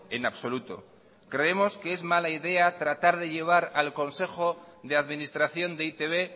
en absoluto creemos que es mala idea tratar de llevar al consejo de administración de e i te be